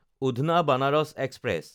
উধনা–বানাৰাচ express